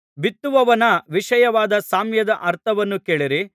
ಬಿತ್ತುವವನ ವಿಷಯವಾದ ಸಾಮ್ಯದ ಅರ್ಥವನ್ನು ಕೇಳಿರಿ